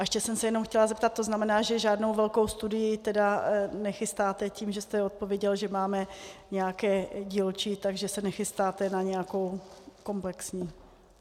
A ještě jsem se jenom chtěla zeptat, to znamená, že žádnou velkou studii tedy nechystáte, tím, že jste odpověděl, že máme nějaké dílčí, takže se nechystáte na nějakou komplexní?